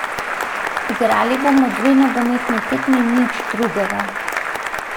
Igrali bomo dve nogometni tekmi in nič drugega.